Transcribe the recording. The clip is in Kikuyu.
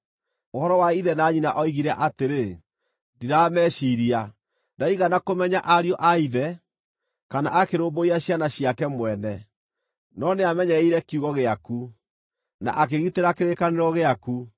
Ũhoro wa ithe na nyina oigire atĩrĩ, ‘Ndirameciiria.’ Ndaigana kũmenya ariũ a ithe, kana akĩrũmbũiya ciana ciake mwene, no nĩamenyereire kiugo gĩaku, na akĩgitĩra kĩrĩkanĩro gĩaku.